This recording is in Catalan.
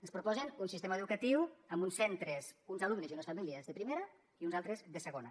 ens proposen un sistema educatiu amb uns centres uns alumnes i unes famílies de primera i uns altres de segona